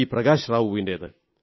Prakash റാവുവിന്റേത്